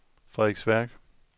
Frederiksværk